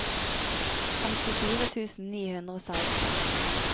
femtifire tusen ni hundre og seksten